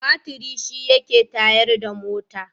Batiri shi yake tayar da mota.